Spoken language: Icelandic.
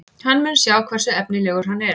Hann mun sjá hversu efnilegur hann er.